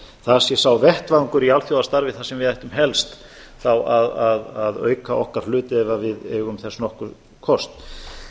það sé sá vettvangur í alþjóðastarfi þar sem við ættum helst þá að auka okkar hlut ef við eigum þess nokkurn kost